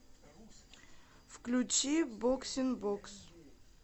включи боксинбокс